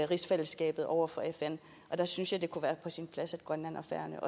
rigsfællesskabet over for fn og der synes jeg det kunne være sin plads at grønland og færøerne